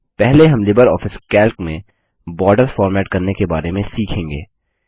पहले हम LibreOffice Calc में बॉर्डर्स फॉर्मेट करने के बारे में सीखेंगे